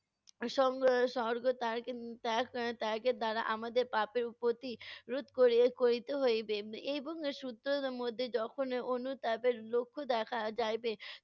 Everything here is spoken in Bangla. ত্যাগ~ উম ত্যাগের দ্বারা আমাদের পাপের প্রতি রোধ করি~ করিতে হইবে। এর এবং, যখন অনুতাপের লক্ষ দেখা যাইবে,